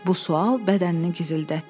Bu sual bədənini gizildətdi.